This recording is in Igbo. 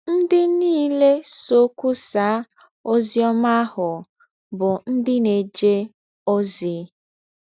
Ndị niile sọ kwụsaa ọzi ọma ahụ bụ ndị na - eje ọzi.